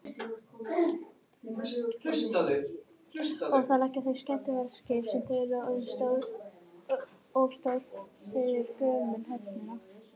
þar leggja líka að þau skemmtiferðaskip sem eru of stór fyrir gömlu höfnina